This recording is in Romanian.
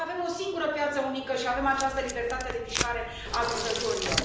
Pentru că avem o singură piață unică și avem această libertate de mișcare a lucrătorilor.